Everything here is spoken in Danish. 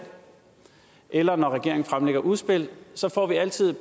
eller når regeringen fremlægger udspil så får vi altid